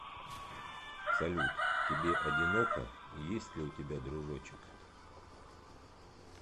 салют тебе одиноко и есть ли у тебя дружочек